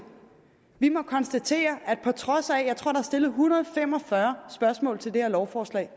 vi må konstatere at på trods af at er stillet en hundrede og fem og fyrre spørgsmål til det her lovforslag